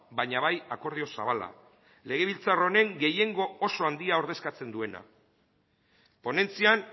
baina bai akordio zabala legebiltzar honen gehiengo oso handia ordezkatzen duena ponentzian